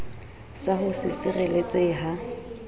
sa ho se sireletsehe ha